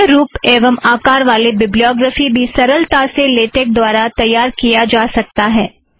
अन्य रुप एवं आकार वाले बिब्लियॉग्रफ़ी भी सरलता से लेटेक द्वारा तैयार किया जा सकता है